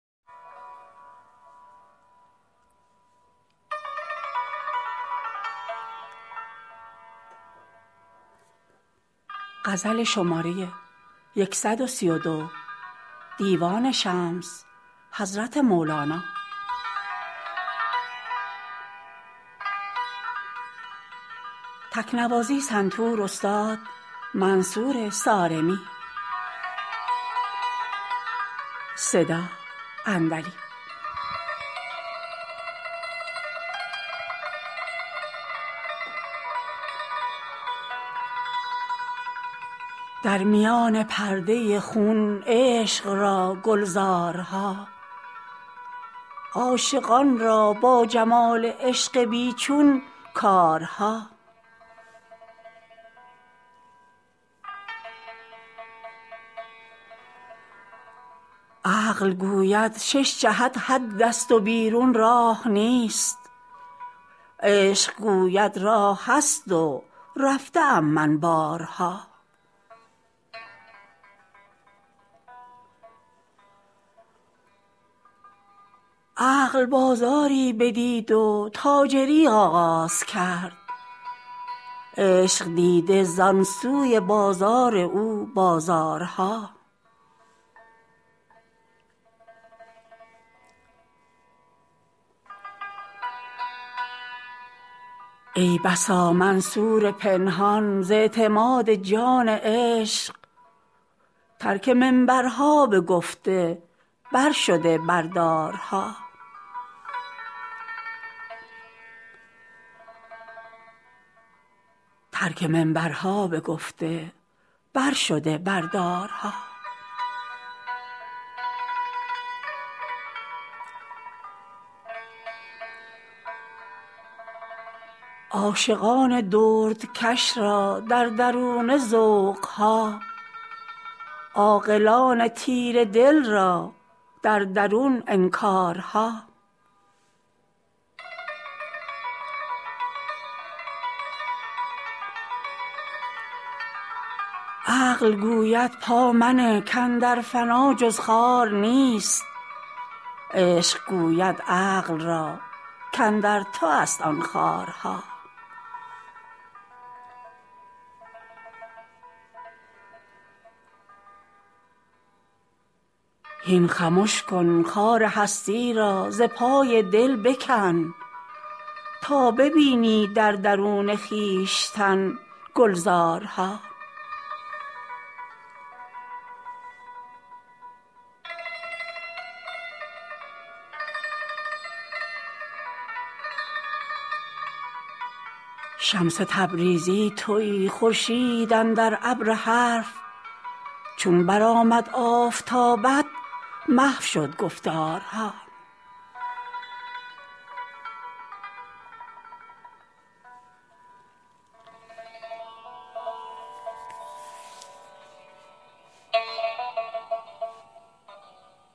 در میان پرده خون عشق را گلزارها عاشقان را با جمال عشق بی چون کارها عقل گوید شش جهت حدست و بیرون راه نیست عشق گوید راه هست و رفته ام من بارها عقل بازاری بدید و تاجری آغاز کرد عشق دیده زان سوی بازار او بازارها ای بسا منصور پنهان ز اعتماد جان عشق ترک منبرها بگفته برشده بر دارها عاشقان دردکش را در درونه ذوق ها عاقلان تیره دل را در درون انکارها عقل گوید پا منه کاندر فنا جز خار نیست عشق گوید عقل را کاندر توست آن خارها هین خمش کن خار هستی را ز پای دل بکن تا ببینی در درون خویشتن گلزارها شمس تبریزی تویی خورشید اندر ابر حرف چون برآمد آفتابت محو شد گفتارها